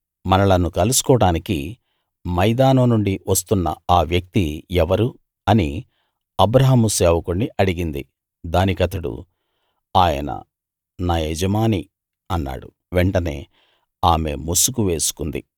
మనలను కలుసుకోడానికి మైదానం నుండి వస్తున్నఆ వ్యక్తి ఎవరు అని అబ్రాహాము సేవకుణ్ణి అడిగింది దానికతడు ఆయన నా యజమాని అన్నాడు వెంటనే ఆమె ముసుగు వేసుకుంది